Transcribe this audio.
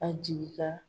A jigi ka